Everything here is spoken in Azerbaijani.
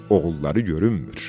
Oğulları görünmür.